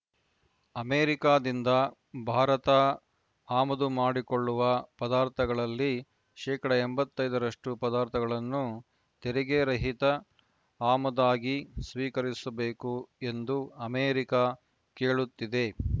ಅಮೆರಿಕಾದಿಂದ ಭಾರತ ಆಮದು ಮಾಡಿಕೊಳ್ಳುವ ಪದಾರ್ಥಗಳಲ್ಲಿ ಶೇಕಡಾ ಎಂಬತ್ತ್ ಐದ ರಷ್ಟು ಪದಾರ್ಥಗಳನ್ನು ತೆರಿಗೆ ರಹಿತ ಆಮದಾಗಿ ಸ್ವೀಕರಿಸಬೇಕು ಎಂದು ಅಮೆರಿಕ ಕೇಳುತ್ತಿದೆ